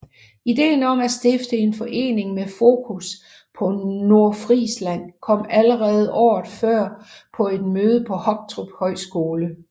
Ideen om at stifte en forening med fokus på Nordfrisland kom allerede året før på et møde på Hoptrup Højskole